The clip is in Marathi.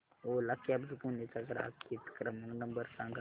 ओला कॅब्झ पुणे चा ग्राहक हित क्रमांक नंबर सांगा